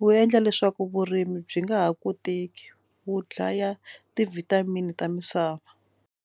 wu endla leswaku vurimi byi nga ha koteki wu dlaya ti-vitamin ta misava.